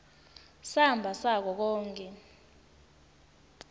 samba sako konkhe